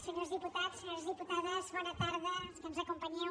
senyors diputats senyores diputades bona tarda els que ens acompanyeu